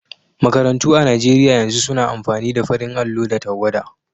Makarantu a Nigeriya yanzu suna amfani da farin allo da tawwada.